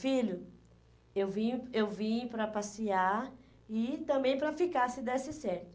Filho, eu vim, eu vim para passear e também para ficar, se desse certo.